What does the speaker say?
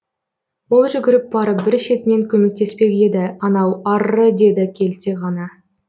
ол жүгіріп барып бір шетінен көмектеспек еді анау арры деді келте ғана